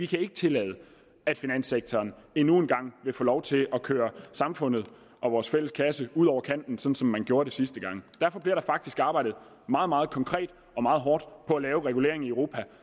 kan tillade at finanssektoren endnu en gang vil få lov til at køre samfundet og vores fælles kasse ud over kanten som man gjorde det sidste gang derfor bliver der faktisk arbejdet meget meget konkret og meget hårdt på at lave regulering i europa